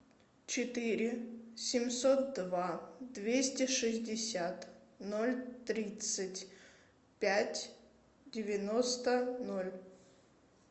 четыре семьсот два двести шестьдесят ноль тридцать пять девяносто ноль